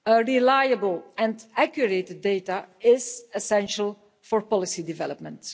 Reliable and accurate data are essential for policy development.